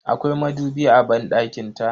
Akwai madubi a banɗakin ta.